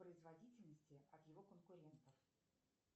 производительности от его конкурентов